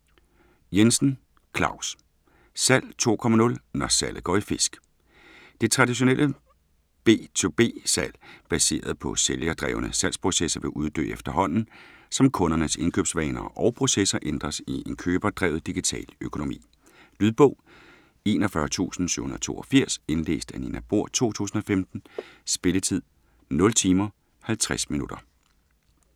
Jensen, Claus: Salg 2.0 – når salget går i fisk! Det traditionelle B2B-salg baseret på sælgerdrevne salgsprocesser vil uddø efterhånden som kundernes indkøbsvaner og –processer ændres i en køberdrevet digital økonomi. Lydbog 41782 Indlæst af Nina Bohr, 2015. Spilletid: 0 timer, 50 minutter.